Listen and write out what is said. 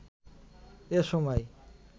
এ সময়